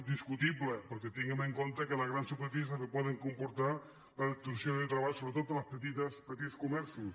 discutible perquè tinguem en compte que les grans superfícies també poden comportar la destrucció de treball sobretot dels petits comerços